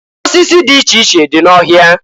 Osisi dị iche dị n'ọhịa.